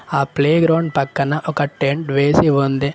ఆ ప్లేగ్రౌండ్ పక్కన ఒక టెంట్ వేసి ఉంది.